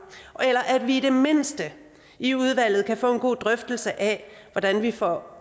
eller at vi i det mindste i udvalget kan få en god drøftelse af hvordan vi får